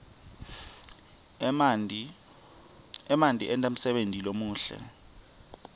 emanti enta umsebenti lomuhle